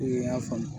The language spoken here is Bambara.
I y'a faamu